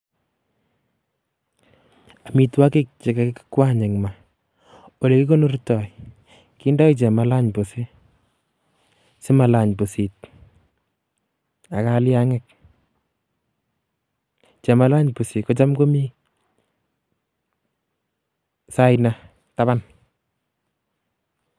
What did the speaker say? Amitwogiik che kakinywany en maa, ko ole kikonortoi kindo chemalany pusi simalany busit ak kaliangiik. Chamalany pusit kotam komii saina taaban,